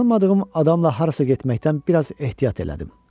Tanınmadığım adamla harasa getməkdən biraz ehtiyat elədim.